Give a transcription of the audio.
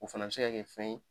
O fana bɛ se ka kɛ fɛn ye